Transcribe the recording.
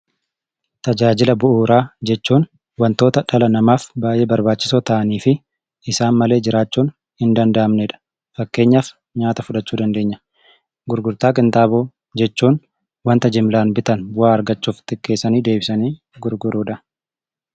Tajaajila bu'uraa jechuun wantoota dhala namaaf baay'ee barbaachisoo ta'aniifi isaan malee jiraachuun hindanda'amnedha. Fakkeenyaaf nyaata fudhachuu dandeenya. Gurgurtaa qinxaaboo jechuun wanta jimlaan bitan bu'aa irraa argachuuf xiqqeessanii deebisanii gurguruudha.